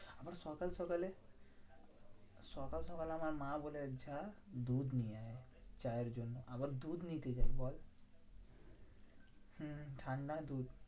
আবার সকাল সকালে সকাল সকাল আমার মা বলে যা দুধ নিয়ে আয়, চা এর জন্য। আবার দুধ নিতে যাই। বল? হুঁ ঠান্ডায় দুধ